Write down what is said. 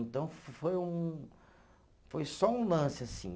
Então, foi um, foi só um lance assim.